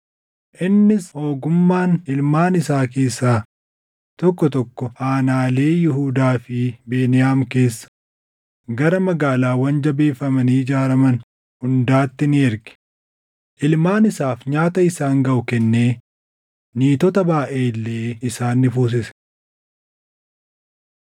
Innis ogummaan ilmaan isaa keessaa tokko tokko aanaalee Yihuudaa fi Beniyaam keessa, gara magaalaawwan jabeeffamanii ijaaraman hundaatti ni erge. Ilmaan isaaf nyaata isaan gaʼu kennee niitota baayʼee illee isaan ni fuusise.